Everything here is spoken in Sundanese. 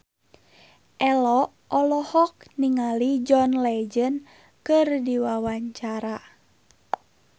Ello olohok ningali John Legend keur diwawancara